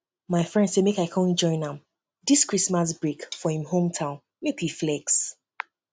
my friend say make i come join am dis christmas break for him hometown make we flex